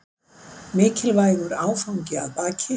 Mikilvægur áfangi að baki